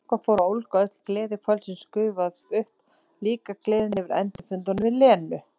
Eitthvað fór að ólga, öll gleði kvöldsins gufuð upp, líka gleðin yfir endurfundunum við Lenu.